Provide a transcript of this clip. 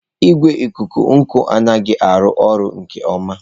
Igwe ikuku n'uko anaghị arụ ọrụ nke ọma.